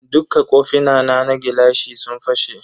Dukka kofina na gilashi sun fashe.